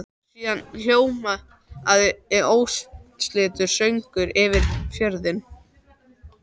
Síðan hljómaði ósamstilltur söngur yfir fjörðinn.